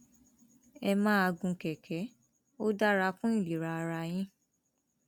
ẹ máa gun kẹkẹ ó dára fún ìlera ara yín